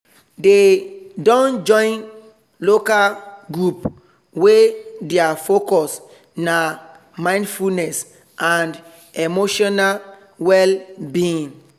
they don join local group wey thier focus nah mindfulness and emotional well-being